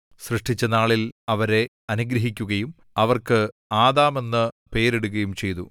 സൃഷ്ടിച്ച നാളിൽ അവരെ അനുഗ്രഹിക്കുകയും അവർക്ക് ആദാമെന്നു പേരിടുകയും ചെയ്തു